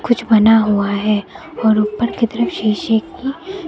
कुछ बना हुआ है और ऊपर की तरफ शीशे की--